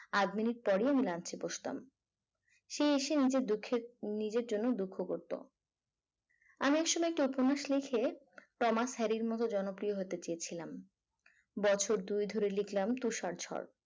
আধ minute পরে আমি lunch এ বসতাম সে এসে নিজের দুঃখের নিজের জন্য দুঃখ করত আমি আসলে একটি উপন্যাস লিখে ক্রোমাস হ্যারির মতো জনপ্রিয় হতে চেয়েছিলাম বছর তুই দুই ধরে লেখলাম তুষার ঝড়